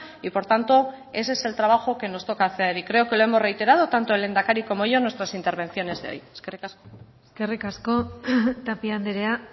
y por tanto ese es el trabajo que nos toca hacer y creo que lo hemos reiterado tanto el lehendakari como yo en nuestras intervenciones de hoy eskerrik asko eskerrik asko tapia andrea